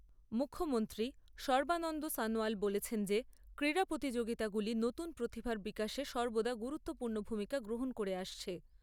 মুখ্যমন্ত্রী সর্বানন্দ সনোয়াল বলেছেন যে ক্রীড়া প্রতিযোগিতাগুলি নতুন প্রতিভার বিকাশে সর্বদা গুরুত্বপূর্ণ ভূমিকা গ্রহণ করে আসছে।